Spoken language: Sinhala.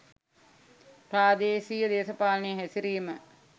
ප්‍රාදේශීය දේශපාලනයේ හැසිරීම